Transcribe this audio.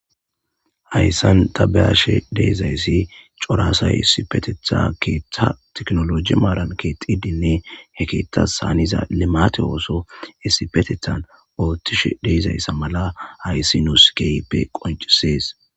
hayssan tabeyashe deezayssi coraasay sipetetha keeththa teknoloji maaran keexidinne he keethas haaniza limate ooso essipetethan oothtishe deezayssa mala hayssi nuuskeype qoncisees